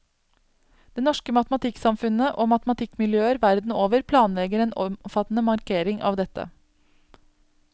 Det norske matematikksamfunnet og matematikkmiljøer verden over planlegger en omfattende markering av dette.